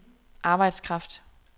arbejdskraft